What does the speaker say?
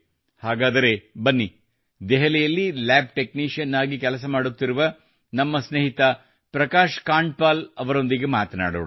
ಹಾಗಾದರೆ ಬನ್ನಿ ದೆಹಲಿಯಲ್ಲಿ ಲ್ಯಾಬ್ ಟೆಕ್ನಿಶಿಯನ್ ಆಗಿ ಕೆಲಸ ಮಾಡುತ್ತಿರುವ ನಮ್ಮ ಸ್ನೇಹಿತ ಪ್ರಕಾಶ್ ಕಾಂಡ್ಪಾಈಲ್ ಅವರೊಂದಿಗೆ ಮಾತನಾಡೋಣ